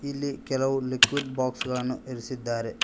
ಇಲ್ಲಿ ಕೆಲವು liquid box ಗಳನ್ನು ಇರಿಸಿದ್ದಾರೆ.